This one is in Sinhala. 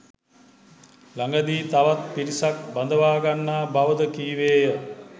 ළගදී තවත් පිරිසක් බඳවා ගන්නා බවද කීවේය